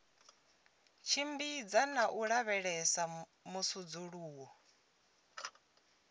tshimbidza na u lavhelesa musudzuluwo